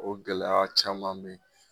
O gɛlɛya caman be ye.